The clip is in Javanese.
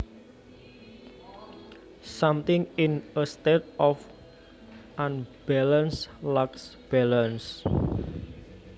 Something in a state of unbalance lacks balance